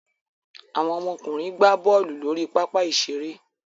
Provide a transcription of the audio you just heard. Àwọn ọmọkùnrin gbá bọ́ọ́lù lórí pápá-ìṣeré.